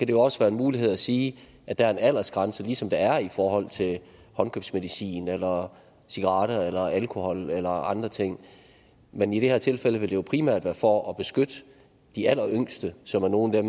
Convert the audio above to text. det også være en mulighed at sige at der er en aldersgrænse ligesom der er i forhold til håndkøbsmedicin eller cigaretter eller alkohol eller andre ting men i det her tilfælde vil det jo primært være for at beskytte de alleryngste som er nogle af